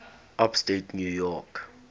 upstate new york